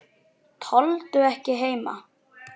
Tolldu ekki heima.